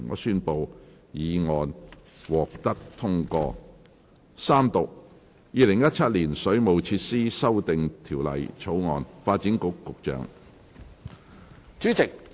主席，我動議《2017年水務設施條例草案》予以三讀並通過。